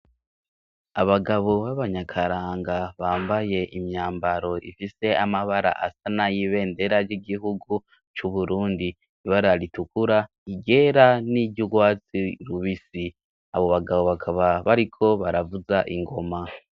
Abagabo b'abanyakaranga bambaye imyambaro ifise amabara asa na yibe ndera ry'igihugu c'uburundi ibararitukura igera n'iryo urwazi rubisi, abo bagabo bakaba bariko baravuza ingoma.